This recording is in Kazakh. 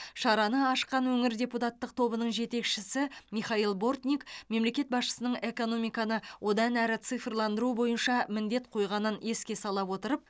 шараны ашқан өңір депутаттық тобының жетекшісі михаил бортник мемлекет басшысының экономиканы одан әрі цифрландыру бойынша міндет қойғанын еске сала отырып